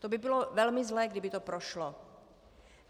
To by bylo velmi zlé, kdyby to prošlo.